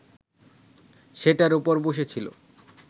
সেটার ওপর বসেছিল